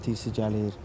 İyinət isi gəlir.